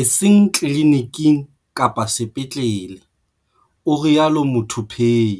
e seng tliliniking kapa sepetlele, o rialo Muthuphei.